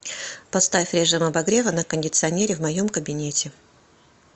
поставь режим обогрева на кондиционере в моем кабинете